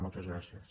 moltes gràcies